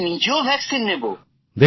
আমি নিজেও টিকা নেবো